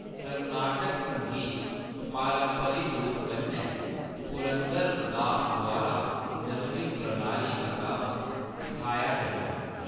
कर्नाटक संगीत पारंपरिक रूप कन्नै पुरंदर दास द्वारा निर्मित प्रणाली मताबक सिखाया जंदा ऐ।